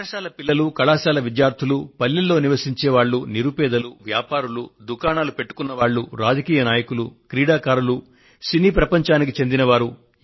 బడి పిల్లలు కళాశాల విద్యార్థులు పల్లెలలో నివసించే వారు నిరుపేదలు వ్యాపారులు దుకాణాలు పెట్టుకొన్న వారు రాజకీయ నాయకులు క్రీడాకారులు సినీ ప్రపంచానికి చెందిన వారు